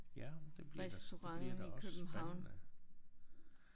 Ja det bliver da det bliver da også spændende